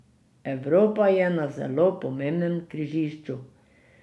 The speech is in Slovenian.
Evropa je na zelo pomembnem križišču.